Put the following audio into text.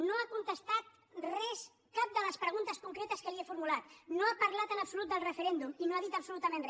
no ha contestat res cap de les preguntes concretes que li he formulat no ha parlat en absolut del referèndum i no ha dit absolutament re